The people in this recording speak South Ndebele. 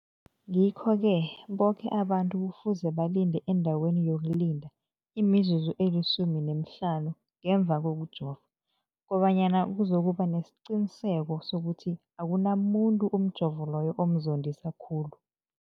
Ngikho-ke boke abantu kufuze balinde endaweni yokulinda imizuzu eli-15 ngemva kokujova, koba nyana kuzokuba nesiqiniseko sokuthi akunamuntu umjovo loyo omzondisa khulu.